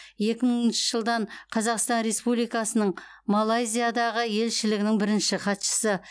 екі мыңыншы жылдан қазақстан республикасының малайзиядағы елшілігінің бірінші хатшысы